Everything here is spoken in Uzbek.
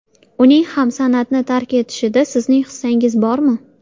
Uning ham san’atni tark etishida sizning hissangiz bormi?